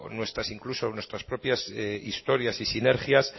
incluso nuestras propias historias y sinergias